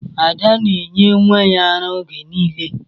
Ada na-enye nwa ya ara oge niile.